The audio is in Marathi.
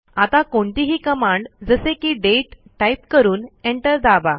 आता कोणतीही कमांड जसे की दाते टाईप करून Enter दाबा